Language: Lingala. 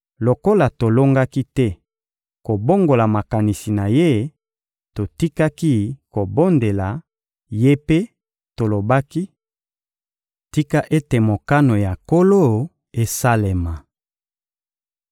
Lokola tolongaki te kobongola makanisi na ye, totikaki kobondela ye mpe tolobaki: — Tika ete mokano ya Nkolo esalema!